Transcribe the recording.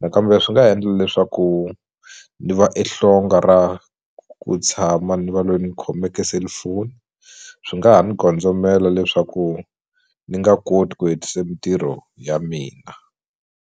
nakambe swi nga ha endla leswaku ni va e hlonga ra ku tshama ni va loyi ni khomeke selufoni swi nga ha ni gondzomela leswaku ni nga koti ku hetise mintirho ya mina.